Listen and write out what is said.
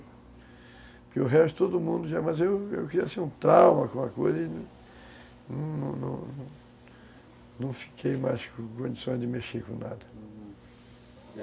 Porque o resto, todo mundo já... Mas eu eu queria ser um trauma com a coisa e não fiquei mais com condições de mexer com nada, hum